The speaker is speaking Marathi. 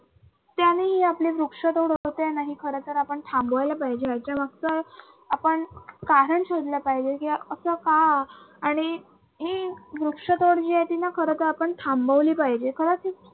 वृक्षतोड आणि खर तर आपण थांबवायला पाहिजे याच्या मागच आपण साधन शोधलं पाहिजे किंवा अस का? आणि ही वृक्षतोड जी आहे ती ना खर तर आपण थांबवली पहिजे.